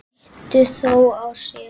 Situr þó á sér.